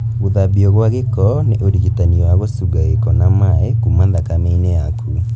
Gũthambio gwa gĩko nĩ ũrigitani wa gũcunga gĩko na maĩ kuma thakame-inĩ yaku